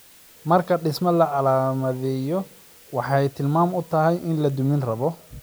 Marka dhisme la calaamadiyo, waxay tilmaan u tahay in la duminirabo.